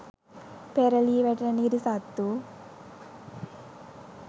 පෙරළී වැටෙන නිරිසත්තු